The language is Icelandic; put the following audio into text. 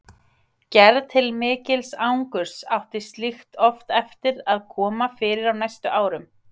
Gerði til mikils angurs átti slíkt oft eftir að koma fyrir á næstu árum.